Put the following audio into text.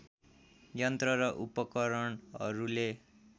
यन्त्र र उपकरणहरूले